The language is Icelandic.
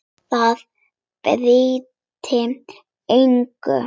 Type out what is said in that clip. Það breytti engu.